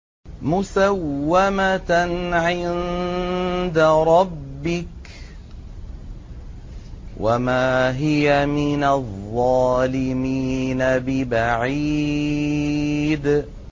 مُّسَوَّمَةً عِندَ رَبِّكَ ۖ وَمَا هِيَ مِنَ الظَّالِمِينَ بِبَعِيدٍ